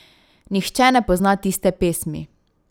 Nihče ne pozna tiste pesmi.